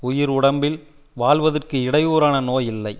உயிர் உடம்பில் வாழ்வதற்கு இடையூறான நோய் இல்லை